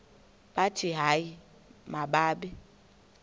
bathi hayi mababe